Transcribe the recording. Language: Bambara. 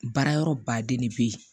Baara yɔrɔ baden de be yen